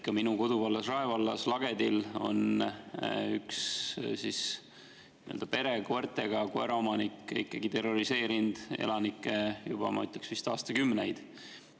Ka minu koduvallas, Rae vallas Lagedil on üks koertega pere, kus koeraomanik on terroriseerinud elanikke, ma ütleksin, vist juba aastakümneid.